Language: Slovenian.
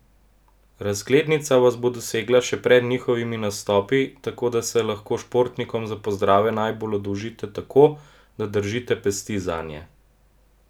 Razglednica vas bo dosegla še pred njihovimi nastopi, tako da se lahko športnikom za pozdrave najbolj oddolžite tako, da držite pesti zanje!